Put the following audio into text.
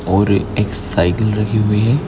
और एक सायकिल लगी हुई है।